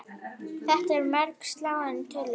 Þetta eru mjög sláandi tölur.